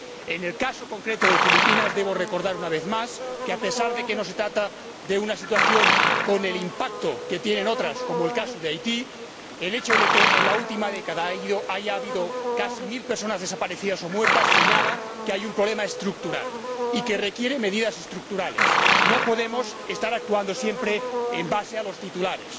En el caso concreto de Filipinas, debo recordar, una vez más, que a pesar de que no se trata de una situación con el impacto que tienen otras, como el caso de Haití el hecho de que, en la última década, haya habido casi mil personas desaparecidas o muertas señala que hay un problema estructural y que requiere medidas estructurales. No podemos estar actuando siempre en base a los titulares.